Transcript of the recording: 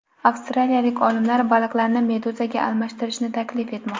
Avstraliyalik olimlar baliqlarni meduzaga almashtirishni taklif etmoqda.